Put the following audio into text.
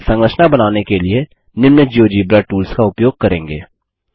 हम संरचना बनाने के लिए निम्न जियोजेब्रा टूल्स का उपयोग करेंगे